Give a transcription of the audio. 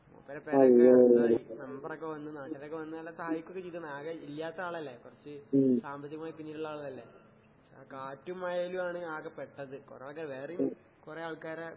മൂപ്പരെ പെരെയൊക്കെ മെമ്പറൊക്കെ വന്ന് നാട്ടാരൊക്കെ വന്ന് നല്ല സഹായിക്കോക്കെ ചെയ്‌തന്ന്. ആകെ ഇല്ല്യാത്ത ആളല്ലേ, കൊറച്ച് സാമ്പത്തികമായി പിന്നിലിള്ള ആളല്ലേ. ആ കാറ്റും മഴേലുവാണ് ആകെ പെട്ടത്. കൊറയൊക്കെ വേറെയും കൊറേ ആൾക്കാരെ